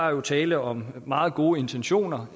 er tale om meget gode intentioner